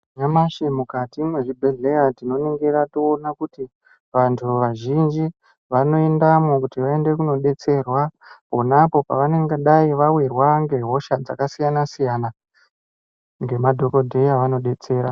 Nyamashi mukati mwezvibhedhleya tinoningira toona kuti vantu vazhinji vanoendamwo kuti vaende kundodetserwa pona apo pavangadai vawirwa ngehosha dzakasiyana-siyana ngemadhokodheya vanodetsera.